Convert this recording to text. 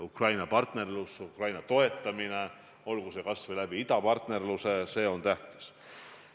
Ukraina partnerlus, Ukraina toetamine, olgu või idapartnerluse kaudu – see on tähtis.